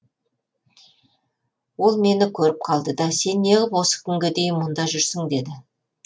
ол мені көріп қалды да сен неғып осы күнге дейін мұнда жүрсің деді